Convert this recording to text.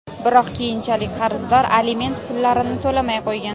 Biroq, keyinchalik qarzdor aliment pullarini to‘lamay qo‘ygan.